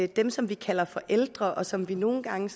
dem som vi kalder for ældre og som vi nogle gange